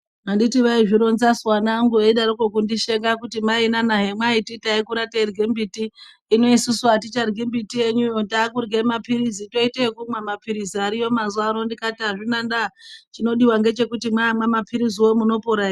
Handiti vaizvironzasu vana vangu veidaroko kundisheka kuti mainana hemwaiti taikura teirye mbiti, hino isusu aticharyi mbiti yenyuyo. Takurye maphiritsi, teite ekumwe maphiritsi ariyo mazuva ano. Ndikati hazvina ndaa, chinodiwa ngechekuti maamwa mapiritsiwo, munopona here.